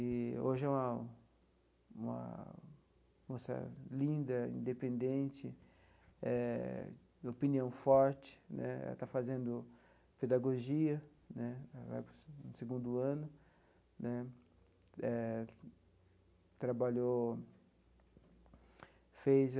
E hoje é uma uma moça linda, independente, eh de opinião forte né, ela está fazendo pedagogia né, ela vai para o segundo ano né, eh trabalhou, fez a...